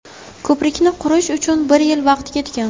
Ko‘prikni qurish uchun bir yil vaqt ketgan.